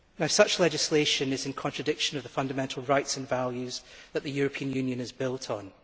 Such legislation is in contradiction with the fundamental rights and values that the European Union is built on.